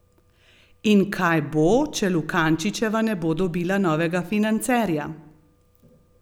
In kaj bo, če Lukančičeva ne bo dobila novega financerja?